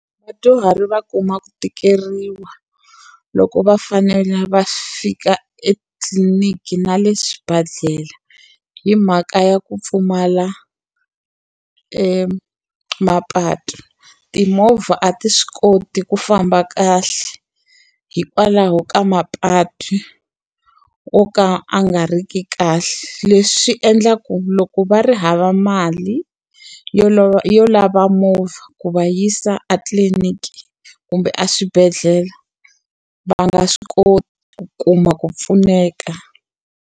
Vadyuhari va kuma ku tikeriwa loko va fanele va fika etitliliniki na le swibedhlele, hi mhaka ya ku pfumala mapatu. Timovha a ti swi koti ku famba kahle hikwalaho ka mapatu yo ka ya nga ri ki kahle. Leswi swi endla ku loko va ri hava mali yo yo lava movha ku va yisa etliliniki kumbe a swibedhlele, va nga swi koti ku kuma ku pfuneka.